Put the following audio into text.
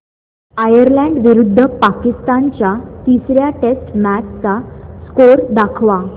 Ireland विरुद्ध पाकिस्तान च्या तिसर्या टेस्ट मॅच चा स्कोअर दाखवा